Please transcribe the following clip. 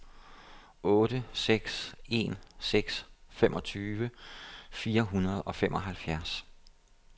otte seks en seks femogtyve fire hundrede og femoghalvfems